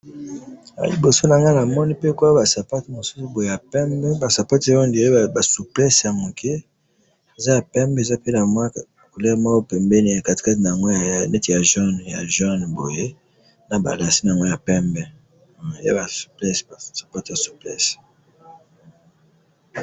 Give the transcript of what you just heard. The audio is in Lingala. Na moni ba sapato mibale ya pembe, ba souplesse na ba lace ya jaune na pembe.